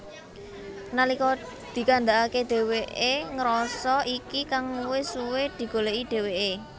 Nalika dikandhakake dheweke ngrasa iki kang wis suwe digoleki dheweke